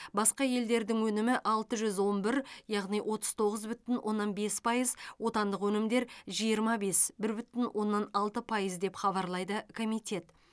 басқа елдердің өнімі алты жүз он бір яғни отыз тоғыз бүтін оннан бес пайыз отандық өнімдер жиырма бес бір бүтін оннан алты пайыз деп хабарлайды комитет